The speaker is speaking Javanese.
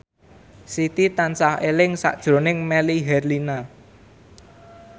Siti tansah eling sakjroning Melly Herlina